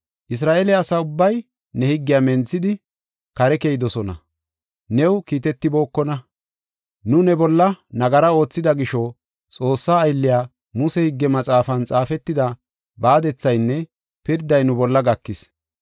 Isra7eele asa ubbay ne higgiya menthidi, kare keyidosona; new kiitetibookona. “Nu ne bolla nagara oothida gisho, Xoossa aylliya Muse Higge Maxaafan xaafetida baadethaynne pirday nu bolla gakis.